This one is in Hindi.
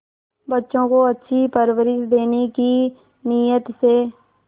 बच्चों को अच्छी परवरिश देने की नीयत से